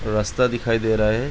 रस्‍ता दिखाई दे रहा है ।